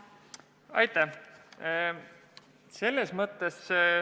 Aitäh!